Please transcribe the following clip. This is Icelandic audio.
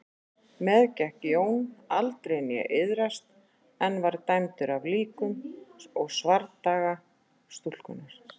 Meðgekk Jón aldrei né iðraðist en var dæmdur af líkum og svardaga stúlkunnar.